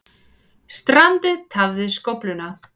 Strandið tafði skófluna